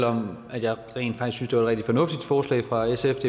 om at jeg rent faktisk er rigtig fornuftigt forslag fra sfs